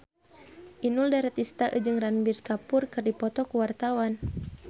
Inul Daratista jeung Ranbir Kapoor keur dipoto ku wartawan